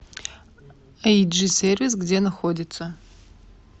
эйджи сервис где находится